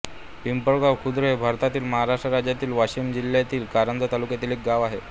पिंपळगाव खुर्द हे भारतातील महाराष्ट्र राज्यातील वाशिम जिल्ह्यातील कारंजा तालुक्यातील एक गाव आहे